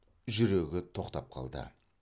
жүрегі тоқтап қалды